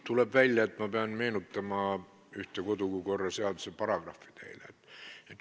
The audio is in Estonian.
Tuleb välja, et ma pean teile meenutama ühte kodukorraseaduse paragrahvi.